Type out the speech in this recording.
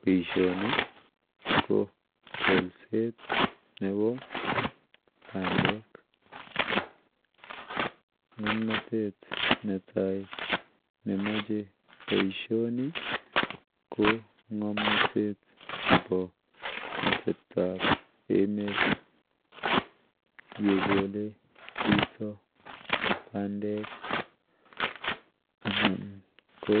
Baishoni ko kolset Nebo bandek ngamnatet netai nemache baishoni ko ngamnatet Nebo atebto ab emet yekole Chito bandek anan ko